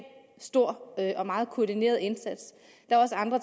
stor og meget koordineret indsats